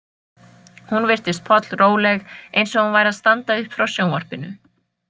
Hún virtist pollróleg, eins og hún væri að standa upp frá sjónvarpinu.